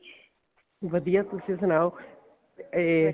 ਵਧੀਆ ਤੁਸੀਂ ਸੁਣਾਓ ਇਹ